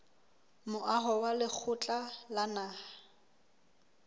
moaho wa lekgotla la naha